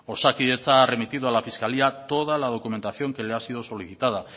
osakidetza ha remitido a la fiscalía toda la documentación que le ha sido solicitada